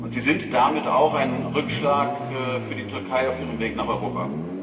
Sie sind damit auch ein Rückschlag für die Türkei auf ihrem Weg nach Europa.